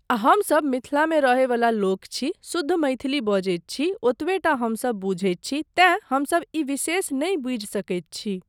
आ हमसब मिथिलामे रहय वला लोक छी, शुद्ध मैथिली बजैत छी, ओतबे टा हमसब बुझैत छी तैँ हमसब ई विशेष नहि बुझि सकैत छी।